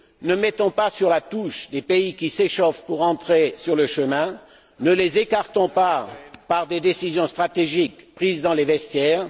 Ne mettons pas sur la touche des pays qui s'échauffent pour rentrer sur le chemin. Ne les écartons pas par des décisions stratégiques prises dans les vestiaires.